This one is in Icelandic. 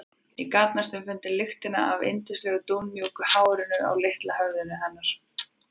Ég gat næstum fundið lyktina af yndislegu dúnmjúku hárinu á litla höfðinu hennar.